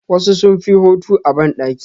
Wasu sunfi hotu a bandaki.